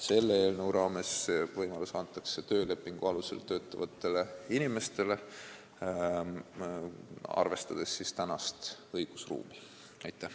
Selle eelnõu raames antakse see võimalus töölepingu alusel töötavatele inimestele, arvestades praegust õigusruumi.